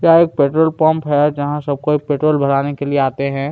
यह एक petrol pump है जहाँ सब कोई पेट्रोल भराने के लिए आते हैं।